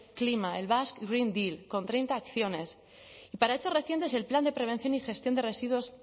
clima el basque green deal con treinta acciones y para hechos recientes el plan de prevención y gestión de residuos